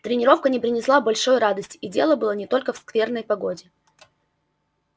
тренировка не принесла большой радости и дело было не только в скверной погоде